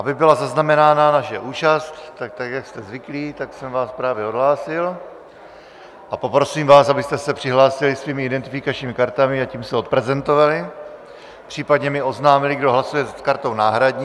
Aby byla zaznamená naše účast, tak jak jste zvyklí, tak jsem vás právě odhlásil a poprosím vás, abyste se přihlásili svými identifikačními kartami, a tím se odprezentovali, případně mi oznámili, kdo hlasuje s kartou náhradní.